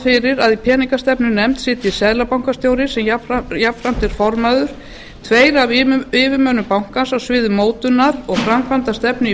fyrir að í peningastefnunefnd sitji seðlabankastjóri sem jafnframt er formaður tveir af yfirmönnum bankans á sviði mótunar og framkvæmdasterfnu í